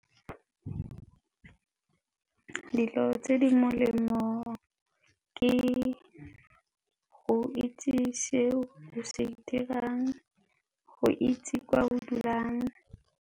Dilo tse di molemo ke go itse se o se dirang, go itse kwa o dulang.